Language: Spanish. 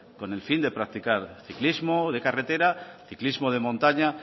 con el fin de practicar el ciclismo de carretera ciclismo de montaña